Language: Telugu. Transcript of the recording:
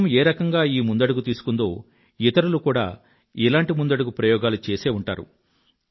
ప్రభుత్వం ఏ రకంగా ఈ ముందడుగు తీసుకుందో ఇతరులు కూడా ఇలాంటి ముందడుగు ప్రయోగాలు చేసే ఉంటారు